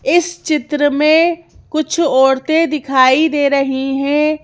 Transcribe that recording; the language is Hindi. इस चित्र में कुछ औरतें दिखाई दे रही हैं।